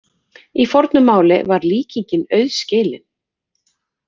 Í fornu máli var líkingin auðskilin.